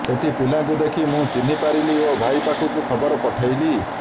ସେଠି ପିଲାକୁ ଦେଖି ମୁଁ ଚିହ୍ନି ପାରିଲି ଓ ଭାଇ ପାଖକୁ ଖବର ପଠାଇଲି